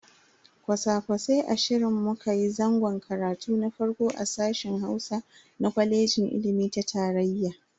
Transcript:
Kwasa-kwasai ashirin mu kayi zangon karatu na farko a sashen Hausa na kwaleji ilimi ta tarayya.